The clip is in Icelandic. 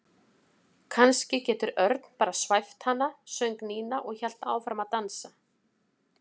Kannski getur Örn bara svæft hana söng Nína og hélt áfram að dansa.